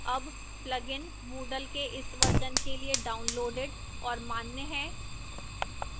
अब plugin moodle के इस version के लिए downloaded और मान्य है